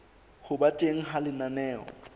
ho ba teng ha lenaneo